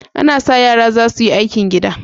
Ana sa ran yara za su yi aikin gida.